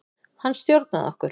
Hann stjórnaði okkur.